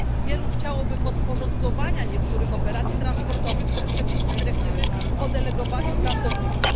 Wielu chciałoby podporządkowania niektórych operacji transportowych przepisom dyrektywy o delegowaniu pracowników.